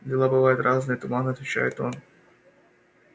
дела бывают разные туманно отвечает он